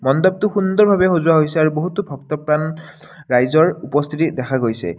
মণ্ডপটো সুন্দৰভাৱে সজোৱা হৈছে আৰু বহুতো ভক্তপ্ৰাণ ৰইজৰ উপস্থিতি দেখা গৈছে।